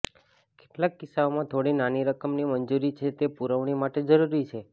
કેટલાક કિસ્સાઓમાં થોડી નાની રકમની મંજૂરી છે તે પુરવણી માટે જરૂરી છે